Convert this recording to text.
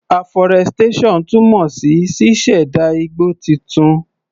Aforestation túmọ̀ sí ṣíṣẹ̀dá igbó titun.